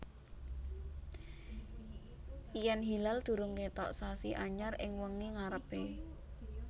Yèn hilal durung kètok sasi anyar ing wengi ngarepé